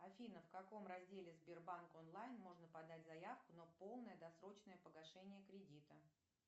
афина в каком разделе сбербанк онлайн можно подать заявку на полное досрочное погашение кредита